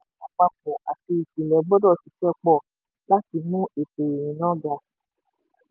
ìjọba àpapọ̀ àpapọ̀ àti ìpínlẹ̀ gbọ́dọ̀ ṣiṣẹ́ pọ̀ láti mú ètò ìrìnnà um ga.